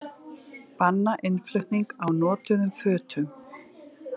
Banna innflutning á notuðum fötum